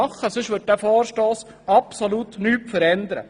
Ansonsten wird er absolut nichts verändern.